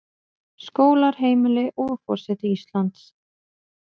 Skólar, heimili, og forseti Íslands.